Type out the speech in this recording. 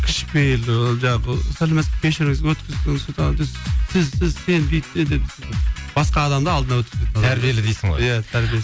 кішіпейілдігі жаңағы сәлеметсіз кешіріңіз сіз сіз сен бүйтпе деп басқа адамды алдына өткізбейтін адам тәрбиелі дейсің ғой иә тәрбиелі